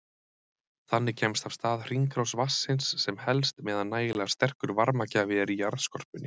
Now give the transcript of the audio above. Þannig kemst af stað hringrás vatnsins sem helst meðan nægilega sterkur varmagjafi er í jarðskorpunni.